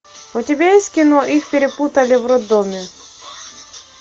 у тебя есть кино их перепутали в роддоме